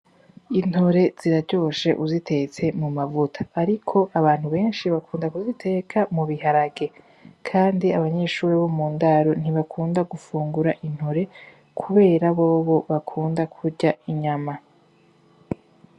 Intore ziraryoshe uzitetse mu mavuta. Ariko abantu benshi bakunda kuziteka mu biharage. Kandi abanyeshuri bo mu ndaro ntibakunda gufungura intore kubera bobo bakunda kurya inyama.